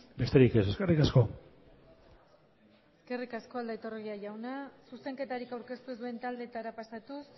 besterik ez eskerrik asko eskerrik asko aldaiturriaga jauna zuzenketarik aurkeztu ez duen taldeetara pasatuz